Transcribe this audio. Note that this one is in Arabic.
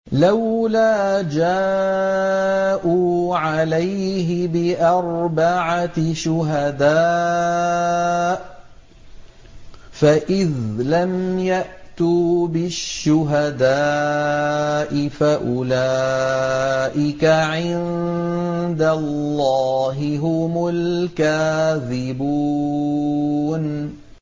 لَّوْلَا جَاءُوا عَلَيْهِ بِأَرْبَعَةِ شُهَدَاءَ ۚ فَإِذْ لَمْ يَأْتُوا بِالشُّهَدَاءِ فَأُولَٰئِكَ عِندَ اللَّهِ هُمُ الْكَاذِبُونَ